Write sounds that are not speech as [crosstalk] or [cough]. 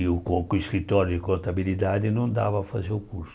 E o [unintelligible] escritório de contabilidade não dava para fazer o curso.